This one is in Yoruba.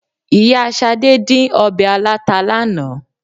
Ìyá Ṣadé dín ọbẹ̀ aláta lánàá.